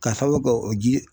K'a sababu kɛ o ji